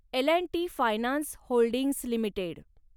L and T finance holdings limited